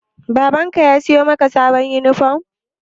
Baban ka ya siyo maka sabon yunifom?